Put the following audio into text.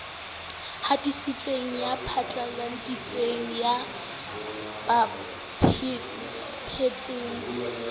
hatisitseng ya phatlaladitseng ya bapetseng